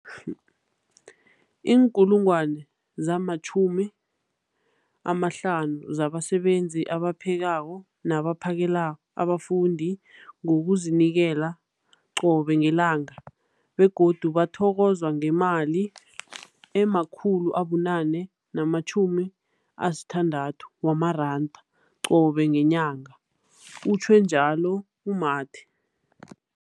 50 000 zabasebenzi abaphekako nabaphakela abafundi ngokuzinikela qobe ngelanga, begodu bathokozwa ngemali ema-960 wamaranda qobe ngenyanga, utjhwe njalo u-Mathe.